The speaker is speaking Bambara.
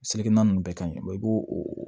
Seleke na ninnu bɛɛ ka ɲi i b'o o